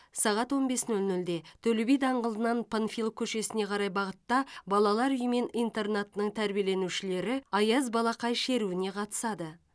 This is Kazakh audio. сағат он бес нөл нөлде төле би даңғылынан панфилов көшесіне қарай бағытта балалар үйі мен интернатының тәрбиеленушілері аяз балақай шеруіне қатысады